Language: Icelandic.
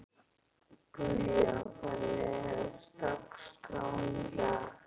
Guja, hvernig er dagskráin í dag?